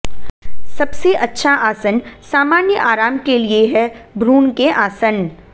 सबसे अच्छा आसन सामान्य आराम के लिए है भ्रूण के आसन